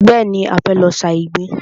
Bẹ́ẹ̀ni, a fẹ́ lọ sa ìgbín.